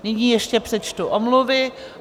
Nyní ještě přečtu omluvy.